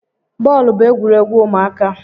Bọọlụ bụ egwuregwu ụmụaka